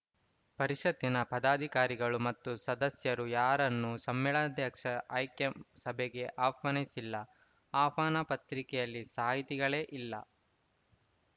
ಪರಿಷತ್ತಿನ ಪದಾಧಿಕಾರಿಗಳು ಮತ್ತು ಸದಸ್ಯರು ಯಾರನ್ನು ಸಮ್ಮೇಳನಾಧ್ಯಕ್ಷ ಆಯ್ಕೆ ಸಭೆಗೆ ಆಹ್ವಾನಿಸಿಲ್ಲ ಆಹ್ವಾನ ಪತ್ರಿಕೆಯಲ್ಲಿ ಸಾಹಿತಿಗಳೇ ಇಲ್ಲ